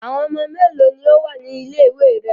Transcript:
Àwọn ọmọ mélòó ni ó wà ní ilé-ìwé rẹ?